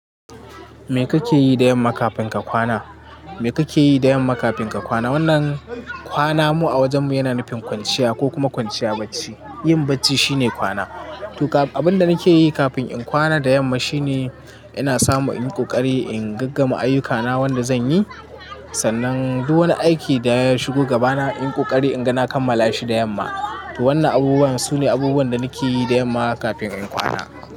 Me kake yi da yamma kafin ka kwana? Me kake yi da yamma kafin ka kwana? Wannan kwana mu a wajen mu yana nufin kwanciya ko kuma kwanciya bacci. Yin bacci shine kwana. To abin da nake yi kafin in kwana da yamma shine ina samu in ƙoƙari in ga gama ayyukana wanda zan yi. Sannan du wani aiki da ya shigo gabana in ƙoƙari inga na kammala shi da yamma. To wannan abubuwan sune abubuwan da nake yi da yamma kafin in kwana.